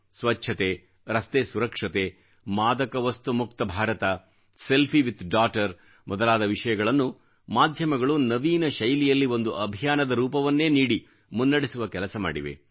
ಸ್ವಚ್ಛತೆ ರಸ್ತೆ ಸುರಕ್ಷತೆ ಮಾದಕ ವಸ್ತು ಮುಕ್ತ ಭಾರತ ಸೆಲ್ಫೀ ವಿತ್ ಡೌಘ್ಟರ್ ಮೊದಲಾದ ವಿಷಯಗಳನ್ನು ಮಾಧ್ಯಮಗಳು ನವೀನ ಶೈಲಿಯಲ್ಲಿ ಒಂದು ಅಭಿಯಾನದ ರೂಪವನ್ನೇ ನೀಡಿ ಮುನ್ನಡೆಸುವ ಕೆಲಸ ಮಾಡಿವೆ